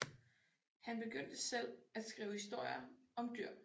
Han begyndte selv at skrive historier om dyr